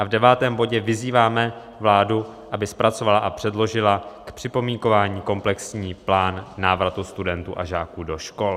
A v devátém bodě vyzýváme vládu, aby "zpracovala a předložila k připomínkování komplexní plán návratu studentů a žáků do škol."